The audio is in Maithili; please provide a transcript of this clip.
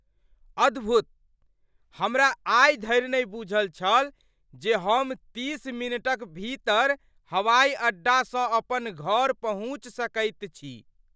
अद्भुत! हमरा आइ धरि नहि बूझल छल जे हम तीस मिनटक भीतर हवाई अड्डासँ अपन घर पहुँच सकैत छी।